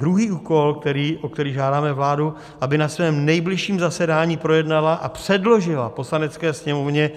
Druhý úkol, o který žádáme vládu, aby na svém nejbližším zasedání projednala a předložila Poslanecké sněmovně